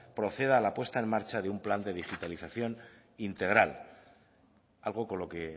proceda a la apuesta en marcha de un plan de digitalización integral algo con lo que